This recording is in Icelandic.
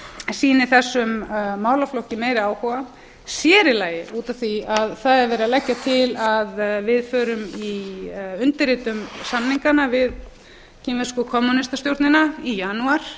sýni þessum málaflokki meiri áhuga sér í lagi út af því að það er verið að leggja til að við undirritum samningana við kínversku kommúnistastjórnina í janúar